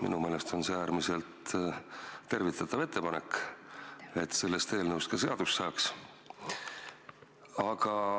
Minu meelest on see äärmiselt tervitatav ettepanek, et sellest eelnõust ka seadus saaks.